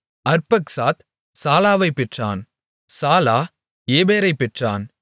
அர்பக்சாத் சாலாவைப் பெற்றான் சாலா ஏபேரைப் பெற்றான்